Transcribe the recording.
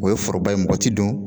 O ye foroba ye mɔgɔ ti don